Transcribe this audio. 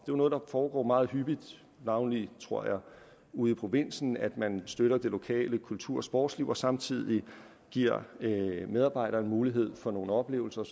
jo noget der foregår meget hyppigt navnlig tror jeg ude i provinsen at man støtter det lokale kultur og sportsliv og samtidig giver medarbejderne mulighed for nogle oplevelser og